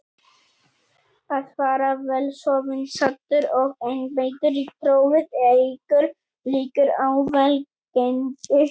Að fara vel sofinn, saddur og einbeittur í prófið eykur líkur á velgengni.